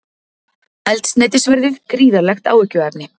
Eldsneytisverðið gríðarlegt áhyggjuefni